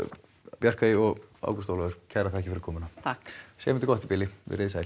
Bjarkey og Ágúst Ólafur kærar þakkir fyrir komuna takk segjum þetta gott í bili veriði sæl